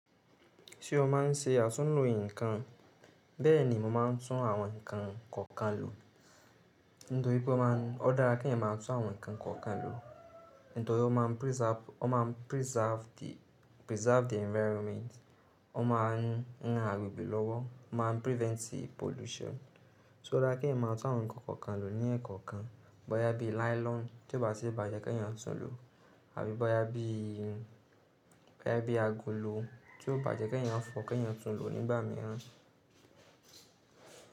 Ṣé o má n ṣe àtúnlò ǹnkan? Bẹ́ẹ̀ni mo má n tún àwọn ǹnkan kọ̀ọ̀kan lò. Nítorí pé o dára kí èèyàn má tún àwọn ǹnkan kọ̀ọ̀kan lò. Nítorí ó ma preserve the environment, ó má n ran agbègbè lọ́wọ́, ó ma prevent pollution. So dára kí èèyàn má tún àwọn ǹnkan kọ̀ọ̀kan lò ní ẹ̀ekoọ̀kan. Bọ́yá bí nylon tí ó bá ti bàjẹ́ kí èèyàn tún lò, tàbí boya bii bọ́yá bí agolo tí ó bàjẹ́ kí èèyàn fọ kí èèyàn tún lò nígbà mìíràn.